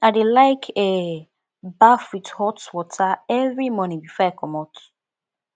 i dey like um baff wit hot water every morning before i comot